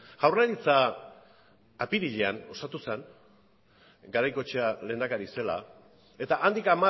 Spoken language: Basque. jaurlaritza apirilean osatu zen garaikoetxea lehendakari zela eta handik